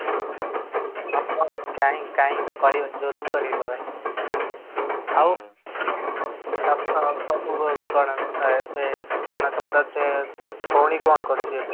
କାହିଁ କାହିଁ କରିବାନି କରିବା ଭାଇ, ଆଉ ସବୁ କଣ ତୁମର ଭଉଣୀ କଣ କରୁଛି ଏବେ?